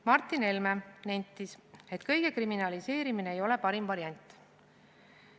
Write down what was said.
Martin Helme nentis, et kõige kriminaliseerimine ei ole parim variant.